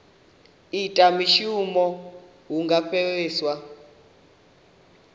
ita mushumo hu nga fheliswa